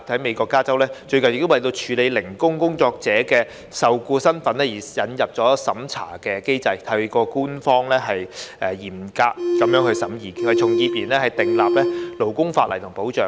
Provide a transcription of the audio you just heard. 美國加州最近亦為處理"零工工作者"的受僱身份而引入審查機制，透過官方嚴格審議，為從業員訂立勞工法例和保障。